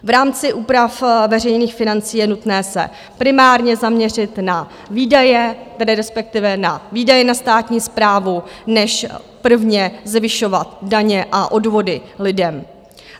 V rámci úprav veřejných financí je nutné se primárně zaměřit na výdaje, tedy respektive na výdaje na státní správu, než prvně zvyšovat daně a odvody lidem.